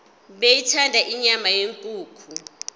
beyithanda inyama yenkukhu